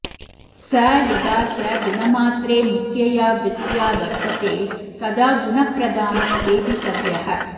स यदा च गुणमात्रे मुख्यया वृत्त्या वत्र्तते तदा गुणप्रधानो वेदितव्यः